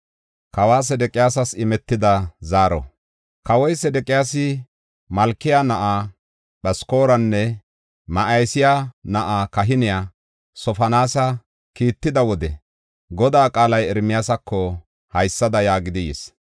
Kawoy Sedeqiyaasi Malkiya na7aa Phaskoranne Ma7iseya na7aa kahiniya Sofoniyaasa kiitida wode, Godaa qaalay Ermiyaasako haysada yaagidi yis: